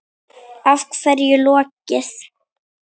Er hverju lokið?